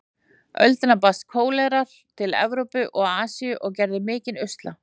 öldina barst kólera til Evrópu og Asíu og gerði mikinn usla.